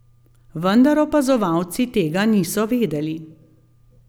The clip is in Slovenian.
Vendar opazovalci tega niso vedeli.